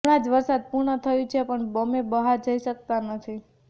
હમણા જ વરસાદ પૂર્ણ થયું છે પણ અમે બહાર જઈ શકતા નથી